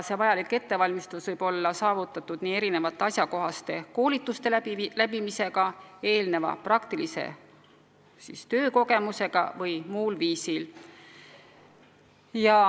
See võib olla saavutatud asjakohaste koolituste läbimisega, eelneva praktilise tööga või muul viisil.